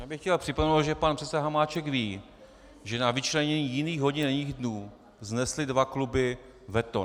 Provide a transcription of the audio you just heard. Já bych chtěl připomenout, že pan předseda Hamáček ví, že na vyčlenění jiných hodin a jiných dnů vznesly dva kluby veto.